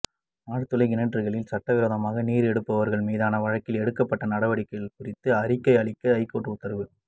ஆழ்துளை கிணறுகளில் சட்டவிரோதமாக நீர் எடுப்பவர்கள் மீதான வழக்கில் எடுக்கப்பட்ட நடவடிக்கைகள் குறித்து அறிக்கை அளிக்க ஐகோர்ட் உத்தரவு